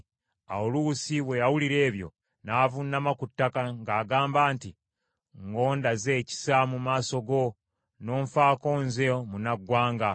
Awo Luusi bwe yawulira ebyo, n’avuunama ku ttaka, ng’agamba nti, “Ng’ondaze ekisa mu maaso go, n’onfaako nze, munnaggwanga.”